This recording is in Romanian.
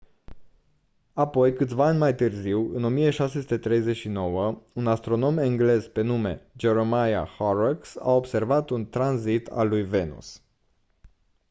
apoi câțiva ani mai târziu în 1639 un astronom englez pe nume jeremiah horrocks a observat un tranzit al lui venus